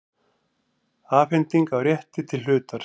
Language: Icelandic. Afhending á rétti til hlutar.